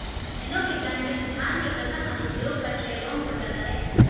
nano विज्ञान के सिद्धांत के प्रथम अनुप्रयोग का श्रेय रोम को जाता है